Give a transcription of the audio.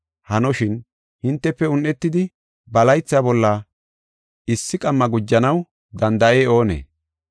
Hanoshin, hintefe un7etidi ba laytha bolla issi qamma gujanaw danda7ey oonee?